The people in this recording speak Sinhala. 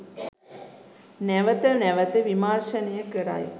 නැවත නැවත විමර්ශනය කරයි.